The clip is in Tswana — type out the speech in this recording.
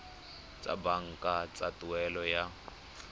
tsa banka tsa tuelo ya